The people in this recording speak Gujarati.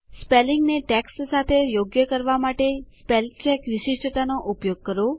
સ્પેલિંગને ટેક્સ્ટ સાથે યોગ્ય કરવા માટે સ્પેલચેક વિશિષ્ટતા નો ઉપયોગ કરો